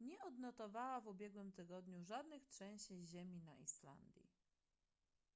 nie odnotowała w ubiegłym tygodniu żadnych trzęsień ziemi na islandii